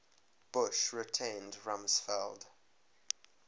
bush retained rumsfeld